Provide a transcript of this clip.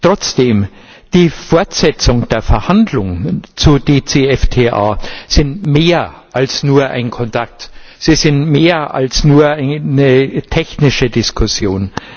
Trotzdem Die Fortsetzung der Verhandlungen zu DCFTA ist mehr als nur ein Kontakt, sie sind mehr als nur eine technische Diskussion.